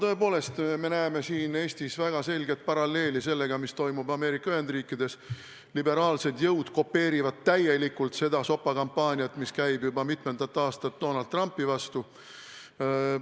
Tõepoolest, me näeme siin Eestis väga selget paralleeli sellega, mis toimub Ameerika Ühendriikides – liberaalsed jõud kopeerivad täielikult seda sopakampaaniat, mis käib juba mitmendat aastat Donalt Trumpi vastu.